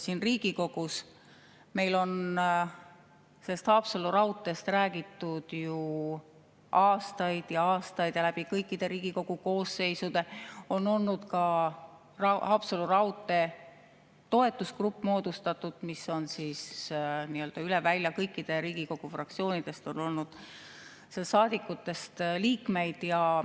Siin Riigikogus on meil Haapsalu raudteest räägitud ju aastaid ja aastaid ning läbi kõikide Riigikogu koosseisude on olnud ka Haapsalu raudtee toetusgrupp moodustatud, mis on siis nii-öelda üle välja: kõikidest Riigikogu fraktsioonidest on olnud liikmeid.